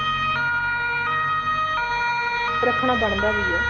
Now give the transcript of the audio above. ਰੱਖਣਾ ਬਣਦਾ ਵੀ ਐ